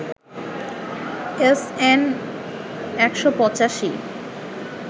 SN ১৮৫